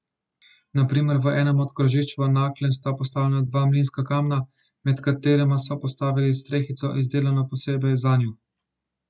Na primer v enem od krožišč v Naklem sta postavljena dva mlinska kamna, nad katerima so postavili strehico, izdelano posebej zanju.